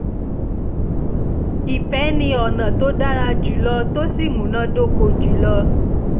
ìfẹ́ ni ọ̀nà tó dára jùlọ tó sì múná dóko jùlọ